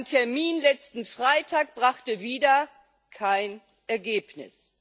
Ein Termin letzten Freitag brachte wieder kein Ergebnis.